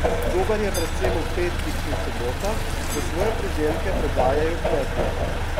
Dober je predvsem ob petkih in sobotah, ko svoje pridelke prodajajo kmetje.